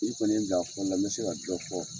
N'i kɔni ye n bila a fɔli la n bɛ se ka jɔ fɔ.